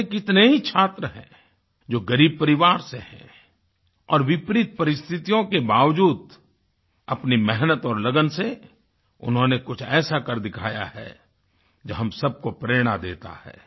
ऐसे कितने ही छात्र हैं जो ग़रीब परिवार से हैं और विपरीत परिस्थियों के बावज़ूद अपनी मेहनत और लगन से उन्होंने कुछ ऐसा कर दिखाया है जो हम सबको प्रेरणा देता है